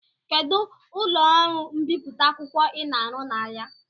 Kedụ ụlọ ọrụ mbipụta akwụkwọ Ị na-arụ na ya?